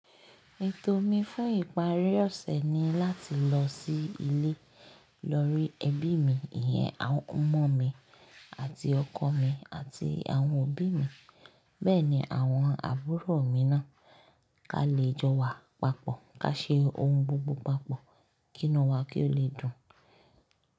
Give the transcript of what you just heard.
Ètò mi fún ìparí ọ̀sẹ̀ ni láti lọ sí ilé, lọ rí ẹbí mi, ìyẹn ọmọ mi àti ọkọ mi àti àwọn òbí mi. Bẹ́ẹ̀ ni àwọn àbúrò mi náà ka lè jọ wa papọ̀, ká ṣe ohun gbogbo papọ̀, kí inú wa kí ó lè dùn.